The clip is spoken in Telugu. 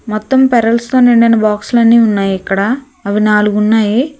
మొత్తం పెరల్స్ తో నిండిన బాక్స్ లన్నీ ఉన్నాయ్ ఇక్కడ అవి నాలుగున్నాయి.